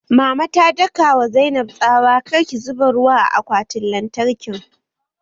Mama ta daka wa Zainab tsawa 'Kar ki zuba ruwa a akwatin lantarkin'!